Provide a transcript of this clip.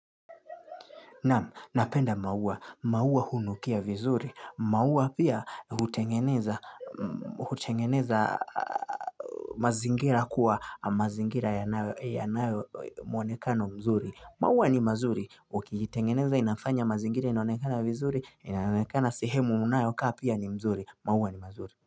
Naam, napenda maua. Maua hunukia vizuri. Maua pia hutengeneza mazingira kuwa mazingira yanayo mwonekano mzuri. Mauwa ni mazuri. Ukiitengeneza inafanya mazingira inaonekana vizuri, inaonekana sehemu unayokaa pia ni mzuri. Mauwa ni mazuri.